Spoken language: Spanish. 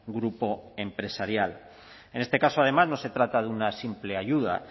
grupo empresarial en este caso además no se trata de una simple ayuda